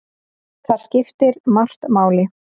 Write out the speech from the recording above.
Þar skiptir margt máli.